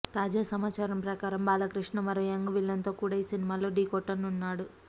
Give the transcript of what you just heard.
తాజా సమాచారం ప్రకారం బాలకృష్ణ మరో యంగ్ విలన్ తో కూడా ఈ సినిమాలో ఢీ కొట్టనున్నాడు